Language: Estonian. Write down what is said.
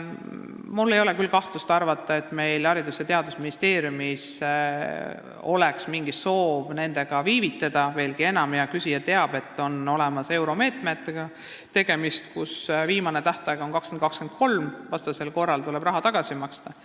Mul ei ole küll põhjust arvata, nagu Haridus- ja Teadusministeeriumil oleks mingi soov viivitada, veelgi enam, hea küsija teab, et tegemist on euromeetmetega, mille viimane tähtaeg on 2023, muidu tuleb raha tagasi maksta.